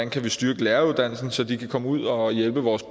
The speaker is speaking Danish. kan styrke læreruddannelsen så de kan komme ud og hjælpe vores